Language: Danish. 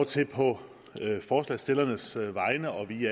til på forslagsstillernes vegne og vi